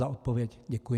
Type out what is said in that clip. Za odpověď děkuji.